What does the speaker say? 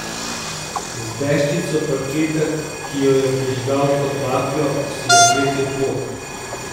Z deščico parketa, ki jo je prižgal kot baklo, si je svetil pot.